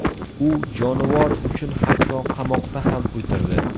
U jonivor uchun hatto qamoqda ham o‘tirdi.